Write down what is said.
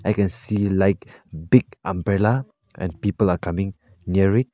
i can see like big umbrella and people are coming near it.